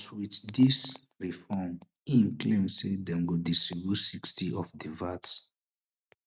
wit dis reform im claim say dem go distribute sixty of di VAT